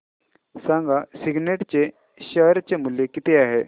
सांगा सिग्नेट चे शेअर चे मूल्य किती आहे